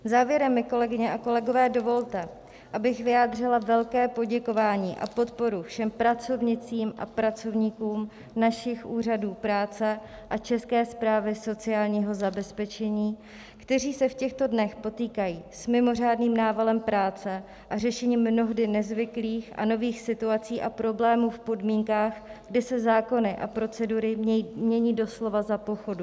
Závěrem mi, kolegyně a kolegové, dovolte, abych vyjádřila velké poděkování a podporu všem pracovnicím a pracovníkům našich úřadů práce a České správě sociálního zabezpečení, kteří se v těchto dnech potýkají s mimořádným návalem práce a řešením mnohdy nezvyklých a nových situací a problémů v podmínkách, kdy se zákony a procedury mění doslova za pochodu.